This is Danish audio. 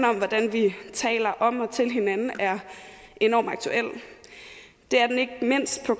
om hvordan vi taler om og til hinanden er enorm aktuel det er den ikke mindst på